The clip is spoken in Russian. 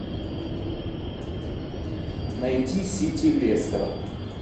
найти сити лестер